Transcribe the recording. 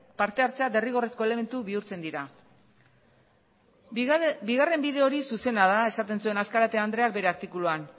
parte hartzea derrigorrezko elementu bihurtzen dira bigarren bide hori zuzena da esaten zuen azkarate andreak bere artikuluan